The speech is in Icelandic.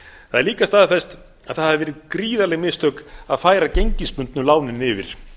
það er líka staðfest að það hafi verið gríðarleg mistök að færa gengisbundnu lánin yfir